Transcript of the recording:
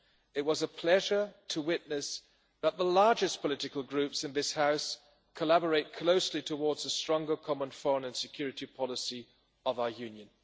It was a pleasure to witness the largest political groups in this House collaborate closely towards a stronger common foreign and security policy for our Union.